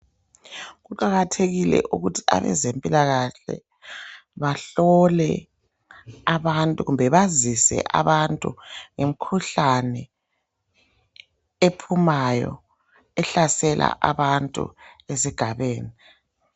Kuqakathekile ukuthi abezempilakahle bahlole abantu kumbe bazise abantu ngemikhuhlane ephumayo, ehlasela abantu ezigabeni.